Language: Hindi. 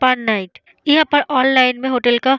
पर नाईट यहाँ पर ऑनलाइन में होटल का --